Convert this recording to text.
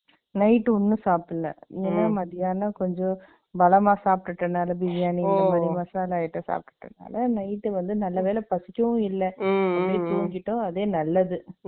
Night ஒண்ணும் சாப்பிடல. ம், மத்தியானம் கொஞ்சம், பலமா சாப்பிட்டுட்டனால, பிரியாணி, மசாலா item சாப்பிட்டதுனால, Night வந்து, நல்ல வேளை பசிக்கவும் இல்லை. ம், தூங்கிட்டோம், அதே நல்லது.